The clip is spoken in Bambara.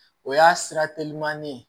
O y'a sira telimani ye